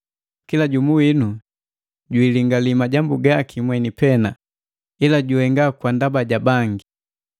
Kila jumu winu jwilingali majambu gaki mweni pena, ila juhenga kwa ndaba ja bangi.